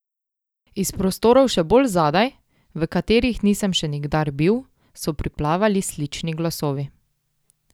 Iz prostorov še bolj zadaj, v katerih nisem še nikdar bil, so priplavali slični glasovi.